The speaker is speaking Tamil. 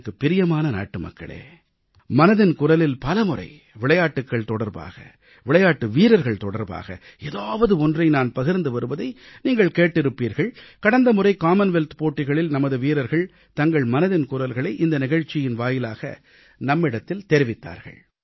எனக்குப் பிரியமான நாட்டுமக்களே மனதின் குரலில் பலமுறை விளையாட்டுகள் தொடர்பாக விளையாட்டு வீரர்கள் தொடர்பாக ஏதாவது ஒன்றை நான் பகிர்ந்து வருவதை நீங்கள் கேட்டிருப்பீர்கள் கடந்தமுறை காமன்வெல்த் போட்டிகளில் நமது வீரர்கள் தங்கள் மனதின் குரல்களை இந்த நிகழ்ச்சியின் வாயிலாக நம்மிடத்தில் தெரிவித்தார்கள்